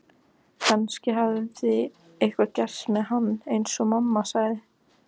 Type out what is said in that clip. Kannski hafði eitthvað gerst með hann eins og mamma sagði.